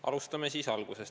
Alustame algusest.